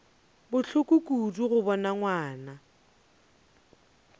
bohloko kudu go bona ngwana